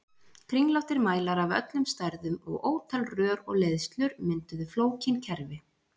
Kringlóttir mælar af öllum stærðum og ótal rör og leiðslur mynduðu flókin kerfi.